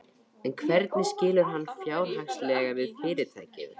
En hvernig skilur hann fjárhagslega við fyrirtækið?